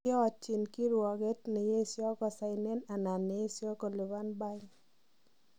Kiotiich kiruogeet neyeesio kosainen anan neesio koliban bain.